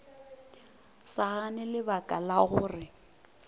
sa gane lebaka la gore